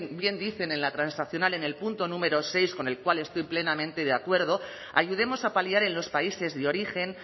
bien dicen en la transaccional en el punto número seis con el cual estoy plenamente de acuerdo ayudemos a paliar en los países de origen